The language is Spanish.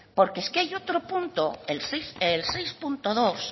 porque es que hay otro punto el seis punto dos